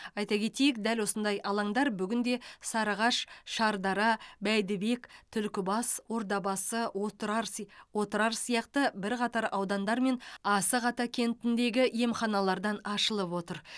айта кетейік дәл осындай алаңдар бүгінде сарыағаш шардара бәйдібек түлкібас ордабасы отырар си отырар сияқты бірқатар аудандар мен асық ата кентіндегі емханалардан ашылып отыр